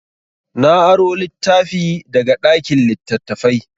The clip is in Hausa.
Na aro littafi daga ɗakin littattafai.